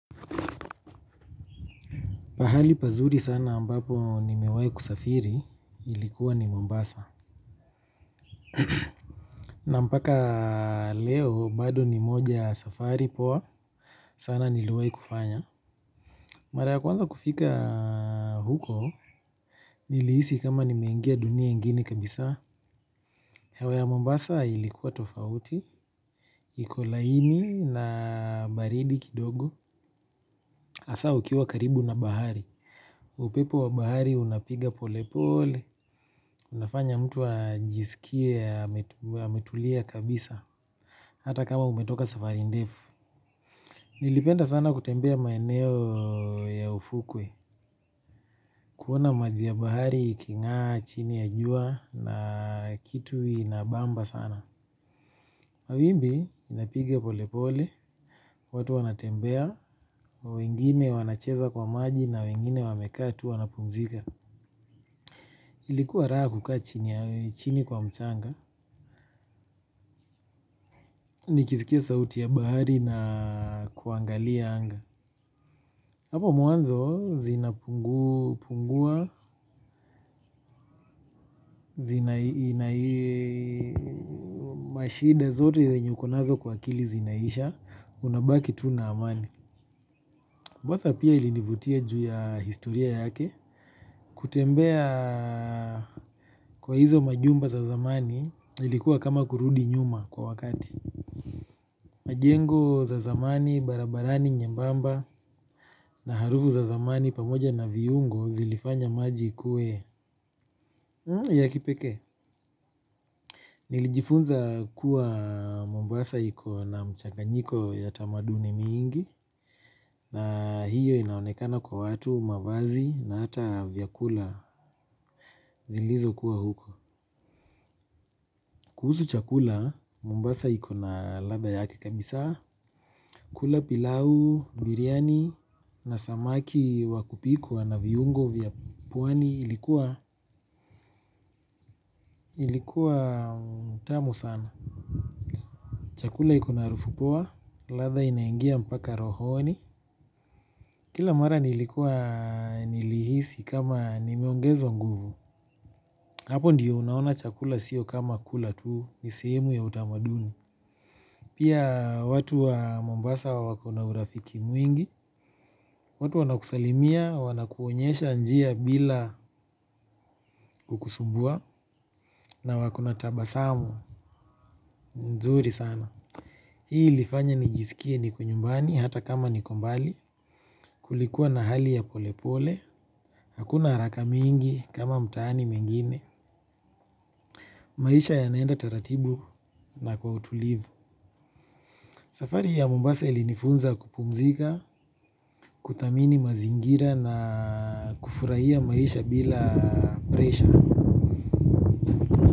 Pahali pazuri sana ambapo nimewahi kusafiri, ilikuwa ni Mombasa. Na mpaka leo, bado ni moja ya safari poa, sana niliowahi kufanya. Mara ya kwanza kufika huko, nilihisi kama nimeengia dunia ingine kabisa. Hewa ya Mombasa ilikuwa tofauti, iko laini na baridi kidogo. Hasa ukiwa karibu na bahari. Upepo wa bahari unapiga pole pole. Unafanya mtu ajisikie ametulia kabisa. Hata kama umetoka safari ndefu. Nilipenda sana kutembea maeneo ya ufukwe. Kuona maji ya bahari ikingaa chini ya jua na kitu inabamba sana. Mawimbi inapiga pole pole. Watu wanatembea. Wengine wanacheza kwa maji na wengine wamekaa tu wanapumzika. Ilikuwa raha kukaa chini kwa mchanga, nikisikia sauti ya bahari na kuangalia anga. Hapo mwanzo zinapungua, zina ina mashida zote zenye uko nazo kwa akili zinaisha, unabaki tu na amani. Mombasaa pia ilinivutia juu ya historia yake, kutembea kwa hizo majumba za zamani ilikuwa kama kurudi nyuma kwa wakati. Majengo za zamani barabarani nyembamba na harufu za zamani pamoja na viungo zilifanya maji kuwe ya kipekee. Nilijifunza kuwa mombasa iko na mchaganyiko ya tamaduni mingi na hiyo inaonekana kwa watu mavazi na hata vyakula zilizokuwa huko. Kuhusu chakula mombasa iko na ladha yake kabisaa. Kula pilau, biryani na samaki wa kupikwa na viungo vya pwani ilikuwa tamu sana. Chakula iko na harufu poa, ladha inaingia mpaka rohoni. Kila mara nilikuwa nilihisi kama nimeongezwa nguvu. Hapo ndiyo unaona chakula sio kama kula tu, ni sehemu ya utamaduni. Pia watu wa Mombasa wako na urafiki mwingi, watu wanakusalimia, wanakuonyesha njia bila kukusumbua na wako na tabasamu, mzuri sana. Hii ilifanya nijisikie niko nyumbani hata kama niko mbali, kulikuwa na hali ya polepole, hakuna haraka mingi kama mtaani mengine. Maisha yanaenda taratibu na kwa utulivu. Safari ya Mombasa ilinifunza kupumzika, kuthamini mazingira na kufurahia maisha bila presha.